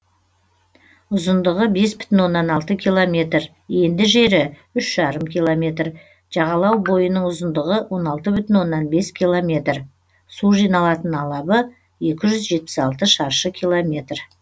ұзындығы бес бүтін оннан алты километр енді жері үш бүтін оннан бес километр жағалау бойының ұзындығы он алты бүтін оннан бес километр су жиналатын алабы екі жүз жетпіс алты шаршы километр